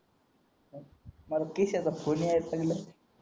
अरे त्रिशाचा फोन येयाचं लागला